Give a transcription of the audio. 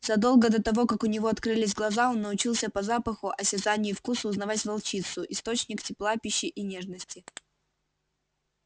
задолго до того как у него открылись глаза он научился по запаху осязанию и вкусу узнавать волчицу источник тепла пищи и нежности